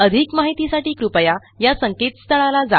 अधिक माहितीसाठी कृपया या संकेतस्थळाला जा